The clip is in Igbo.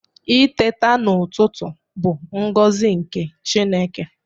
Iteta n'ututu bu ngozi nke Chineke